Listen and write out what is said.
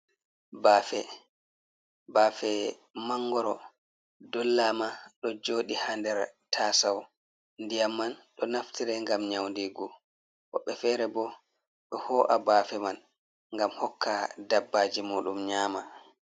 Bafe, bafe mangoro dollama ɗo joɗi ha nder tasau. Ndiyam man ɗo naftira gam nyaundigu, woɓɓe fere bo ɓe ho’a bafe man gam hokka dabbaji mudum nyama.